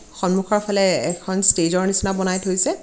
সন্মুখৰফালে এখন ষ্টেজ ৰ নিচিনা বনাই থৈছে।